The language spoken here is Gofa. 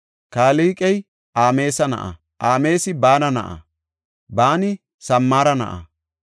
Kilqey Ameesa na7a; Ameesi Baana na7a; Baani Samara na7a;